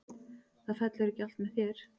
Það fellur ekki allt með þér.